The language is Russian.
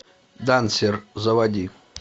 дансер заводи